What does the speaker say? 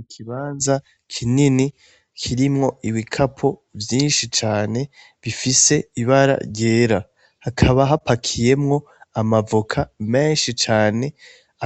Ikibanza kinini kirimwo ibikapo vyinshi cane bifise ibara ryera, hakaba hapakiyemwo amavoka menshi cane,